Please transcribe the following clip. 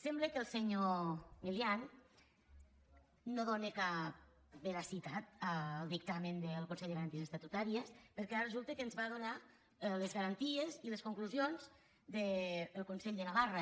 sembla que el senyor milián no dóna cap veracitat al dictamen del consell de garanties estatutàries perquè ara resulta que ens va donar les garanties i les conclusions del consell de navarra